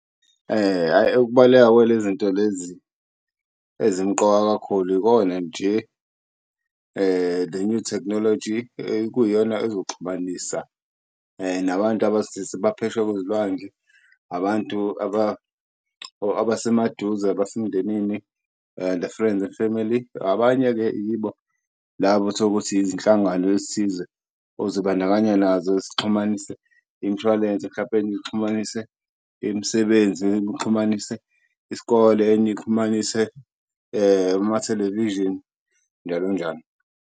Hhayi ukubaluleka kwale zinto lezi ezimqoka kakhulu, ikona nje le-new thekhnoloji ekuyiyona ezoxhumanisa nabantu abaphesheya kwezilwandle. Abantu or abasemaduze, abasemndenini and friends and family. Abanye-ke yibo labo utholukuthi izinhlangano ezithize ozibandakanya nazo zixhumanise imshwalense mhlampe nixhumanise imisebenzi, nixhumanise isikole enye ixhumanise ama-television njalo njalo.